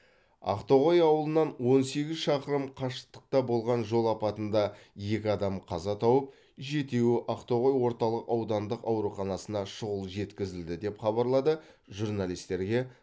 ақтоғай ауылынан он сегіз шақырым қашықтықта болған жол апатында екі адам қаза тауып жетеуі ақтоғай орталық аудандық ауруханасына шұғыл жеткізілді деп хабарлады журналистерге